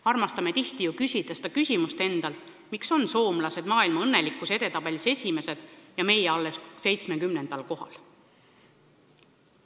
Armastame ju tihti küsida endalt seda küsimust, miks on soomlased maailma õnnelikkuse edetabelis esimesed ja meie alles 70. kohal.